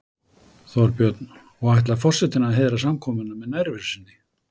Þorbjörn: Og ætlar forsetinn að heiðra samkomuna með nærveru sinni?